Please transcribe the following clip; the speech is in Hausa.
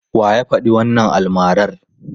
Wa ya faɗi wannan almarar?